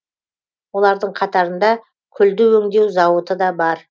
олардың қатарында күлді өңдеу зауыты да бар